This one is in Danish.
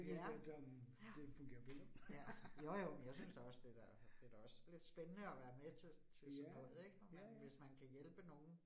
Ja. Ja. Ja. Jo jo, men jeg synes da også det da det da også lidt spændende at være med til til sådan noget ik. Når man hvis man kan hjælpe nogen